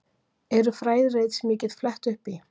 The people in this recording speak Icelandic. Eru fræðirit sem ég get flett upp í?